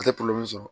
A tɛ sɔrɔ